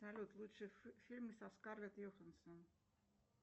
салют лучшие фильмы со скарлетт йохансон